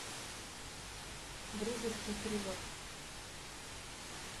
дружеский перевод